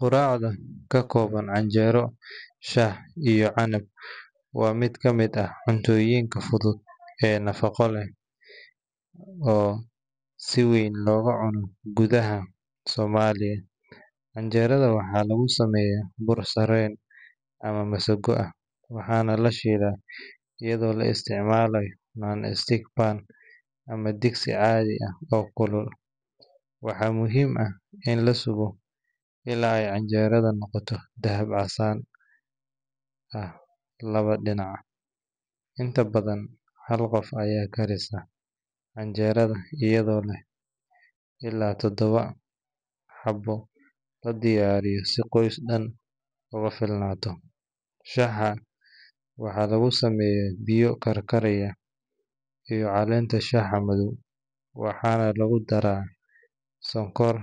Quraacda ka kooban canjeero, shaah iyo canab waa mid ka mid ah cuntooyinka fudud ee nafaqo leh oo si weyn looga cuno gudaha Soomaaliya. Canjeerada waxaa lagu sameeyaa bur sarreen ama masago ah, waxaana la shiilaa iyadoo la isticmaalo non-stick pan ama digsi caadi ah oo kulul. Waxaa muhiim ah in la sugo illaa ay canjeeradu noqoto dahab casaan ah labada dhinac. Inta badan, hal qof ayaa karisa canjeerada, iyadoo lix ilaa todoba xabbo la diyaariyo si qoys dhan ugu filnaato. Shaaha waxaa lagu sameeyaa biyo karkaraya iyo caleenta shaaha madow, waxaana lagu darayaa sonkor